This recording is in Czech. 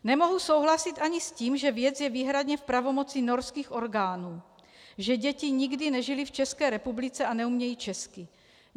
Nemohu souhlasit ani s tím, že věc je výhradně v pravomoci norských orgánů, že děti nikdy nežily v České republice a neumějí česky.